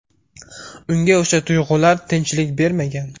Unga o‘sha tuyg‘ular tinchlik bermagan.